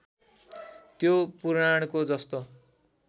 त्यो पुराणको जस्तो